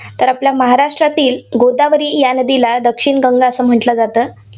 तर आपल्या महाराष्ट्रातील गोदावरी या नदीला दक्षिण गंगा असं म्हटलं जातं.